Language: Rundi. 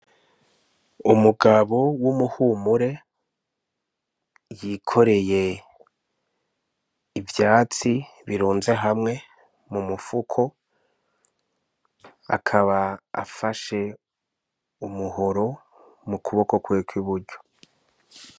Umugabo w'umuhumure yikoreye ivyatsi bikunze hamwe mu mufuko, akaba afashe umuhoro mu kuboko kwiwe kw'iburyo.